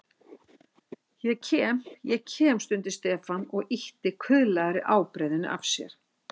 Ég kem, ég kem stundi Stefán og ýtti kuðlaðri ábreiðunni af sér.